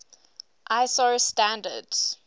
iso standards